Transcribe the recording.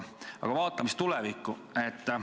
Aga vaatame siis tulevikku.